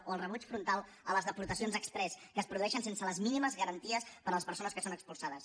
o el rebuig frontal a les deportacions exprés que es produeixen sense les mínimes garanties per a les persones que són expulsades